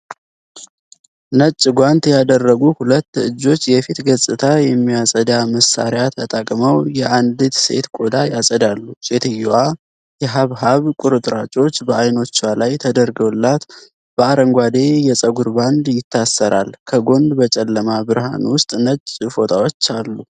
ነጭ ጓንት ያደረጉ ሁለት እጆች የፊት ገጽታ የሚያጸዳ መሳሪያ ተጠቅመው የአንዲት ሴት ቆዳ ያጸዳሉ። ሴትየዋ የሐብሐብ ቁርጥራጮች በአይኖቿ ላይ ተደርገውላት በአረንጓዴ የፀጉር ባንድ ይታሰራል። ከጎን በጨለማ ብርሃን ውስጥ ነጭ ፎጣዎች አሉ።